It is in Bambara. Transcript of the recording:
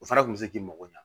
O fana kun be se k'i mago ɲa